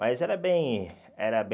Mas era bem era bem